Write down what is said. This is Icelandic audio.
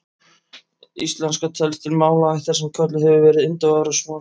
Íslenska telst til málaættar sem kölluð hefur verið indóevrópsk mál.